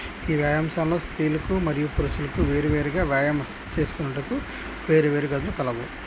ఈ వ్యాయాంశాలో స్త్రీలకు మరియు పురుషులకు వేరువేరుగా వ్యాయామం చేసుకోటకు వేరువేరు గదులు కలవు.